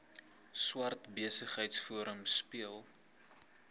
swart besigheidsforum speel